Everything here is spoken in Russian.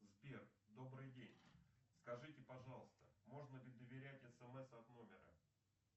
сбер добрый день скажите пожалуйста можно ли доверять смс от номера